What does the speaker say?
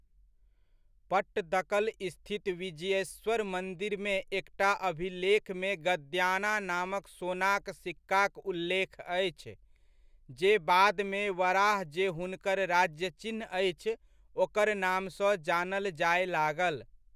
पट्टदकल स्थित विजयेश्वर मन्दिरमे एकटा अभिलेखमे गद्याना नामक सोनाक सिक्काक उल्लेख अछि, जे बादमे वराह जे हुनकर राजचिह्नअछि ओकर नामसँ जानल जाय लागल।